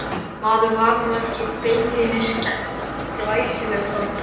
Ekkert var enn vitað um hvaða ensím störfuðu að eftirmynduninni.